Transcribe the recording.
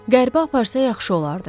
Qərbə aparsa yaxşı olardı.